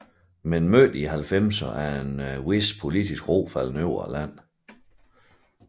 Men i midten af halvfemserne er en vis politisk ro faldet over landet